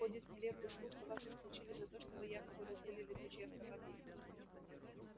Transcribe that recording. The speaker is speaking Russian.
ходит нелепый слух что вас исключили за то что вы якобы разбили летучий автомобиль